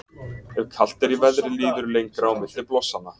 Ef kalt er í veðri líður lengra á milli blossanna.